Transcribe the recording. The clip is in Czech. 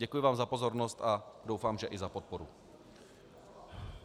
Děkuji vám za pozornost a doufám, že i za podporu.